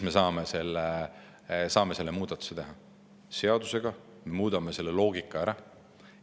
Me saame selle muudatuse teha, seadusega me muudame selle loogika ära.